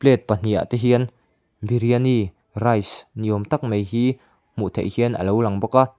pahnih ah te hian biryani rice ni awm tak mai hi hmuh theih hian a lo lang bawk a.